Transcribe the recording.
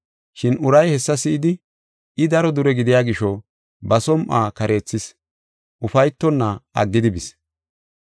Shin uray hessa si7idi, I daro dure gidiya gisho, ba som7uwa kareethis, ufaytonna aggidi bis.